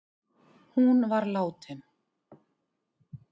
Hún var látin